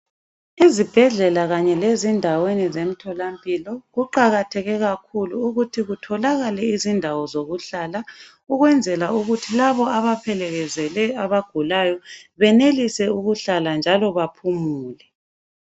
Izibhedlela kanye lezindaweni zemtholampilo, kuqakatheke kakhulu ukuthi kutholakale izindawo zokuhlala. Ukwenzela ukuthi labo abaphelekezele abagulayo benelise ukuhlala njalo baphumule.